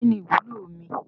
Kínní ìwúlò omi